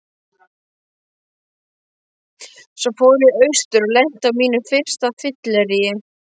Svo fór ég austur og lenti á mínu fyrsta fylleríi.